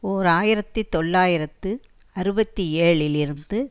ஓர் ஆயிரத்தி தொள்ளாயிரத்து அறுபத்தி ஏழில் இருந்து